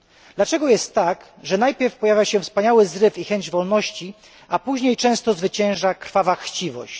Dlaczego jest tak, że najpierw pojawia się wspaniały zryw i chęć wolności, a później często zwycięża krwawa chciwość?